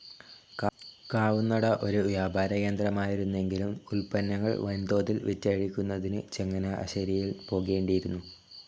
കാവുന്നട ഒരു വ്യാപാരകേന്ദ്രമായിരുന്നെങ്കിലും ഉത്പന്നങ്ങൾ വൻതോതിൽ വിറ്റഴിക്കുന്നതിന് ചങ്ങനാശ്ശേരിയിൽ പോകേണ്ടിയിരുന്നു.